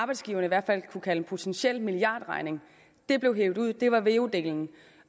arbejdsgiverne i hvert fald kunne have kaldt en potentiel milliardregning det blev hevet ud det var veu delen